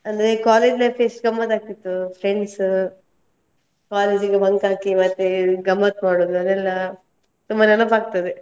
ಅಂದ್ರೆ college life ಎಷ್ಟ್ ಗಮ್ಮತ್ ಆಗ್ತಿತ್ತು, friends , college ಗೆ bunk ಹಾಕಿ ಮತ್ತೆ ಗಮ್ಮತ್ ಮಾಡುದ್, ಅದೆಲ್ಲಾ, ತುಂಬಾ ನೆನಪ್ ಆಗ್ತದೆ.